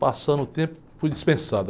Passando o tempo, fui dispensado.